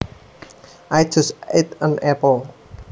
I just ate an apple